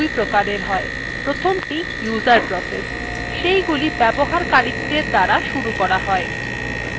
processes দুইপ্রকার হয় প্রথমটি user processes সেইগুলি ব্যবহারকারীদের দ্বারা শুরু করা হয়